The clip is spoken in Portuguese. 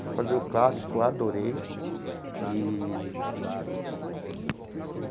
Fui fazer o clássico, adorei eee.